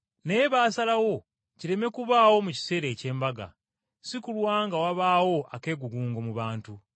Naye baasalawo kireme kubaawo mu kiseera eky’Embaga, si kulwa nga wabaawo akeegugungo mu bantu.